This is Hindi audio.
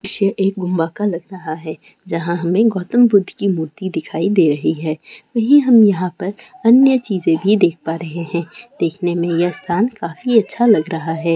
ये एक गुंबा का लग रहा है जहां हमें गौतम बुद्ध की मूर्ति दिखाई दे रही है वही हम यहां पर अन्य चीजे भी देख पा रहे है देखने में यह स्थान काफी अच्छा लग रहा है।